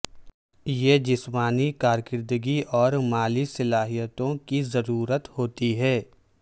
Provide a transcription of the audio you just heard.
یہ جسمانی کارکردگی اور مالی صلاحیتوں کی ضرورت ہوتی ہے